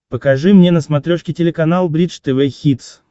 покажи мне на смотрешке телеканал бридж тв хитс